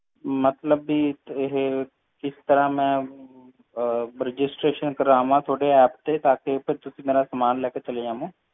ਮਤਲਬ ਕਿ ਇਹ ਕਿਸ ਤਰ੍ਹਾਂ ਮੈਂ registeration ਕਰਵਾ ਤੁਹਾਡੇ app ਤੇ ਕਿ ਤੁਸੀਂ ਮੇਰਾ ਸੰਮਨ ਲੈ ਕੇ ਚਲੇ ਜਾਵੋਂ